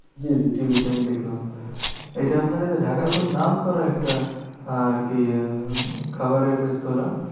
জি Zee TV তে আমি দেখলাম। এইটা আপনার এই যে ঢাকার খুব নাম করা একটা আর কি আহ খাবারের রেস্তোরা।